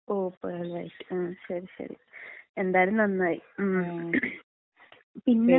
ഓ pearl white. മ് ശരി ശരി, എന്തായാലും നന്നായി, ഉം പിന്നെ?